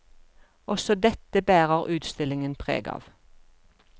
Også dette bærer utstillingen preg av.